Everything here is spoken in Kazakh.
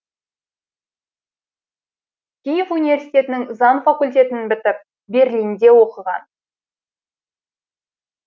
киев университетінің заң факультетін бітіп берлинде оқыған